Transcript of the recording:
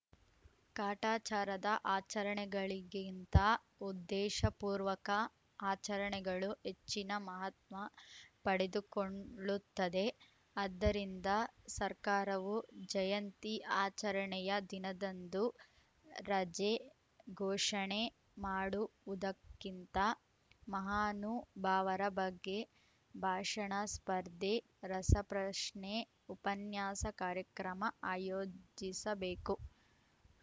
ಕಾಟಾಚಾರದ ಆಚರಣೆಗಳಿಗಿಂತ ಉದ್ದೇಶಪೂರ್ವಕ ಆಚರಣೆಗಳು ಹೆಚ್ಚಿನ ಮಹತ್ವ ಪಡೆದುಕೊಂಳ್ಳುತ್ತವೆ ಆದ್ದರಿಂದ ಸರ್ಕಾರವು ಜಯಂತಿ ಆಚರಣೆಯ ದಿನದಂದು ರಜೆ ಘೋಷಣೆ ಮಾಡುವುದಕ್ಕಿಂತ ಮಹಾನುಭಾವರ ಬಗ್ಗೆ ಭಾಷಣ ಸ್ಪರ್ಧೆ ರಸಪ್ರಶ್ನೆ ಉಪನ್ಯಾಸ ಕಾರ್ಯಕ್ರಮ ಆಯೋಜಿಸಬೇಕು